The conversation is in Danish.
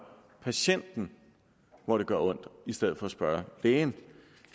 patienten hvor det gør ondt i stedet for at spørge lægen